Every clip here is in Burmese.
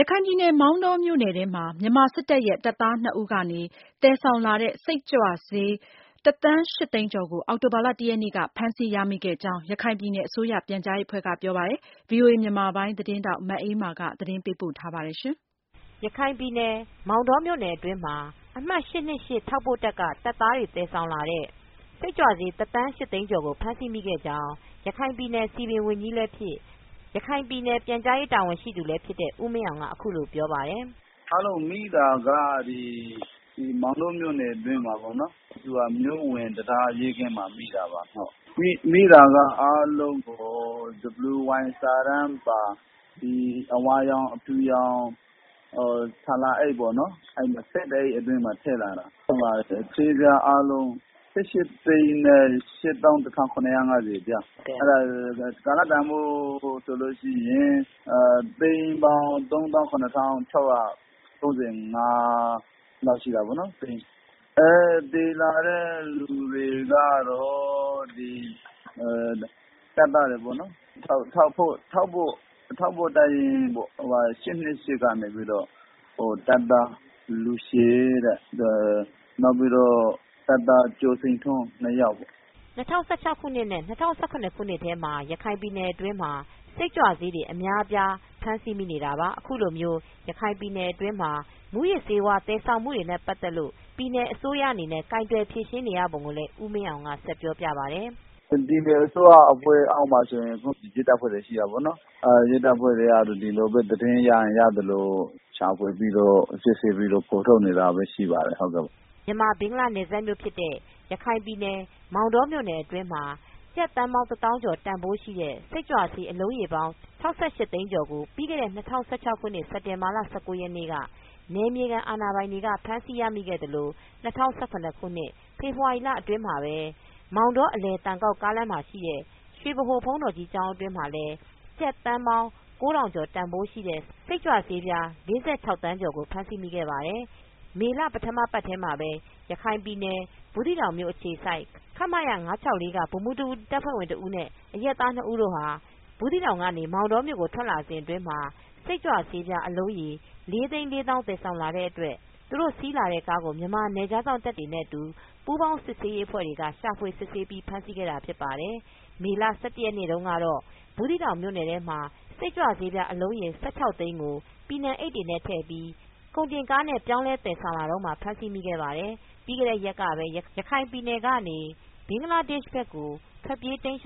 ရခိုင်ပြည်နယ်မောင်တောမြို့နယ်ထဲမှာထောက်ပို့တပ် ရင်း အမှတ် က တပ်သား၂ဦး သယ်ဆောင်လာတဲ့စိတ်ကြွဆေး တသန်း၈သိန်းကျော်ကို အောက်တိုဘာလ ၁ရက်နေ့က ဖမ်းဆီးရမိခဲ့ကြောင်း ရခိုင်ပြည်နယ်အစိုးရ ပြန်ကြားရေး အဖွဲ့ကပြောပါတယ်။ ကာလတန်းဖိုးကတော့ ဖမ်းဆီးမိတဲ့မူးယစ်ဆေးဝါးတွေဟာ ကျပ်သိန်းပေါင်း ၃သောင်းရထောင်ကျော် တန်ဖိုးရှိတယ်လို့ ဆိုပါတယ်။ မအေးအေးမာက သတင်းပေးပို့ ထားပါတယ်။ ရခိုင်ပြည်နယ် မောင်တောမြို့နယ်အတွင်းမှာအမှတ် ထောက်ပို့တပ်ရင်းက တပ်သားတွေ သယ်ဆောင်လာတဲ့ စိတ်ကြွဆေးတသန်း၈သိန်းကျော ် ဖမ်းဆီးမိခဲ့ကြောင်း ရခိုင်ပြည်နယ်စည်ပင်ဝန်ကြီးလည်းဖြစ် ရခိုင်ပြည်နယ်ပြန်ကြားရေးတာဝန်ရှိသူလည်းဖြစ်တဲ့ ဦးမင်းအောင်က အခုလိုပြောပြပါတယ်။ “ဖမ်းလို့မိတာကတော့ ဒီမောင်တောမြို့နယ်အတွင်းမှာ မြို့ဝင်တံတားရဲကင်းမှာ မိတာပါခင်ဗျ။ မိတာကတော့အားလုံး WY စာတမ်းပါ အဝါရောင်အဖြုရောင် ဆာလာအိတ်ပေါ့ ။ ၁၂အိပ်အတွင်းမှာ ထည့်လာတာ ဆေးပြားအားလုံး ၁၈သိန်းနဲ့၈သောင်း တထောင် ခုနှစ်ရာ ငါဆယ်ပြား ကာလတန်းဖိုးနဲ့ ဆိုရင် ကျပ်သိန်းပေါင်း သုံးသောင်းခုနှစ်ထောင်ခြောက်ရာ သုံးဆယ်ငါးလောက် ရှိတာပေါ့နော်။ သယ်လာတဲ့လူတွေကတော့ တပ်သားတွေပေါ့နော် ။ ထောက်ပို့တပ်ရင်း က တပ်သားလူရှည်နဲ့ တပ်သားကျော်စိန်ထွန်းတို့ ၂ယောက်” ၂၀၁၆နဲ့ ၂၀၁၇ခုနှစ်ထဲမှာရခိုင်ပြည်နယ်အတွင်းမှာ စိတ်ကြွဆေးတွေအများအပြား ဖမ်းဆီးမိနေတာပါ။ အခုလိုမျိုး ရခိုင်ပြည်နယ်အတွင်းမှာ မူးယစ်ဆေးတွေသယ်ဆောင်နေမူနဲ့ ပတ်သက်လို့ ပြည်နယ်အစိုးရအနေနဲ့ ကိုင်တွယ်ဖြေရှင်းနေပုံကိုလည်း ဦးမင်းအောင်ဆက်ပြောပြပါတယ်။ “ပြည်နယ်အစိုးရရဲ့ လက်အောက်မှာရဲတပ်ဖွဲ့တွေရှိတာပေါ့နော်။ ရဲတပ်ဖွဲ့ဝင်တွေကပဲ ဒီလိုပဲသတင်းရရင် ရသလို ရှာဖွေပြီးတော့ စစ်ဆေးပြီးတော့ဖော်ထုတ်နေတာတွေပဲရှိပါတယ်” မြန်မာ-ဘင်္ဂလားနယ်စပ်မြို့ ဖြစ်တဲ့ရခိုင်ပြည်နယ် မောင်တောမြို့နယ်တွင်းမှာ ကျပ်သန်းပေါင်း တသောင်းကျော်တန်ဖိုးရှိတဲ့ စိတ်ကြွဆေးအလုံးရေပေါင်း ၆၈သိန်းကျော် ကို ပြီးခဲ့တဲ့၂၀၁၆ခုနှစ် စက်တင်ဘာလ ၁၉ရက်နေ့က နယ်မြေခံအာဏာပိုင်တွေက ဖမ်းဆီးရမိခဲ့သလို ၂၀၁၇ဖေဖော်ဝါရီအတွင်း မှာပဲ မောင်တော-အလယ်သံကောက် ကားလမ်းရှိ ရွှေဗဟို ဘုန်းတော်ကြီး ကျောင်း အတွင်းမှ ကျပ်သန်း ၉၀၀၀ ကျော် တန်ဖိုးရှိ စိတ်ကြွ ဆေး ၄၆ သန်းကျော်ကို ဖမ်းမိခဲ့ ပါတယ်။ မေလပထမအပတ်ထဲမှာပဲ ရခိုင်ပြည်နယ် ဘူးသီးတောင်မြို့အခြေစိုက် ခမရ ဗိုလ်မှူးတစ်ဦး တပ်ဖွဲ့ဝင်တဦးနဲ့ အရပ်သား ၂ဦးတို့ဟာ ဘူးသီးတောင်၊ မောင်တောကို ထွက်လာစဉ်အတွင်း စိတ်ကြွဆေး အလုံးရေ လေးသိန်း လေးသောင်း သယ်ဆောင်လာတဲ့ အတွက်သူတို့ စီးလာတဲ့ကားကို မြန်မာ နယ်ခြားစောင့်တပ်တွေနဲ့ အတူပူးပေါင်းစစ်ဆေးရေး အဖွဲ့တွေက ရှာဖွေ စစ်ဆေးပြီး ဖမ်းဆီးခဲ့တာဖြစ်ပါတယ်။ မေလ ၁၁ရက်နေ့တုန်းကတော့ ဘူးသီးတောင်မြို့နယ်ထဲမှာစိတ်ကြွဆေးအလုံးရေ ၁၆သိန်းကို ပီနံအိတ် တွေထဲထည့်ပြီး ကုန်တင်ကားနဲ့ပြောင်းလဲ သယ်ဆောင်လာတုန်းဖမ်ဆီးမိခဲ့ပါတယ်။ ပြီးခဲ့တဲ့ ရက်ကပဲ ရခိုင်ပြည်နယ်ကနေ ဘင်္ဂလားဒေ့ရှ်ဘက်ကိုထွက်ပြေးခဲ့တဲ့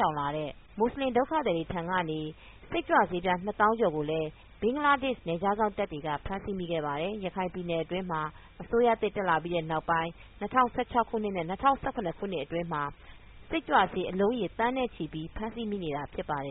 မူဆလင်ဒုက္ခသည်တွေ ထံကနေ စိတ်ကြွဆေးပြား၂သောင်းကျော်ကို ဘင်္ဂလား နယ်ခြားစောင့်တပ်က ဖမ်းမိခဲ့ပါတယ်။ ရခိုင်ပြည်နယ်အတွင်းအစိုးရသစ်တက်လာပြီး နောက်ပိုင်း၂၀၁၆ခုနှစ်နဲ့ ၂၀၁၇ခုနှစ်အတွင်းမှာ စိတ်ကြွဆေးအလုံးရေ သန်းနဲ့ချီပြီးဖမ်းဆီးမိနေတာဖြစ်ပါတယ်